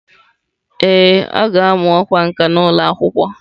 Ee, ọ ga-amụ ọkwá nkà n'ụlọ akwụkwọ.